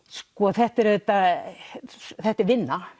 þetta er þetta er vinna